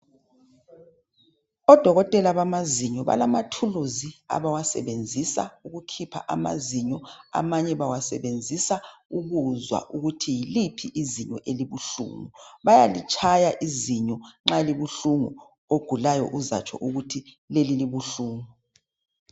Odokotela bamazinyo, balama thuluzi abawasebenzisa ukukhipha amazinyo, amanye bawasebenzisa ukuzwa ukuthi yiliphi izinyo elibuhlungu. Bayalitshaya izinyo nxa libuhlungu, ogulayo uzatsho ukuthi leli libuhlungu.